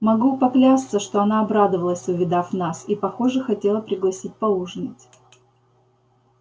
могу поклясться что она обрадовалась увидав нас и похоже хотела пригласить поужинать